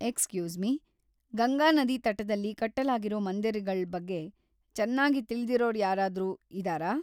Excuse me, Ganga ನದಿ ತಟದಲ್ಲಿ ಕಟ್ಟಲಾಗಿರೋ ಮಂದಿರಗಳ್‌ ಬಗ್ಗೆ ಚನ್ನಾಗಿ ತಿಳಿದಿರೋರ್ಯಾರಾದ್ರೂ ಇದಾರಾ?